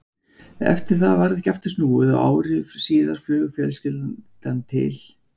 Eftir það varð ekki aftur snúið og ári síðar flaug fjölskyldan til